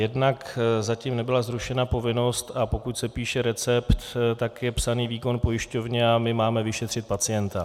Jednak zatím nebyla zrušena povinnost, a pokud se píše recept, tak je psán výkon pojišťovně a my máme vyšetřit pacienta.